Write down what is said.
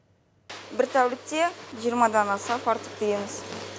бір тәулікте жиырмадан аса фартук тігеміз